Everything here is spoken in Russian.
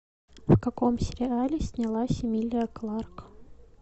в каком сериале снялась эмилия кларк